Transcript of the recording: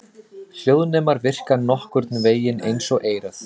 Hljóðnemar virka nokkurn vegin eins og eyrað.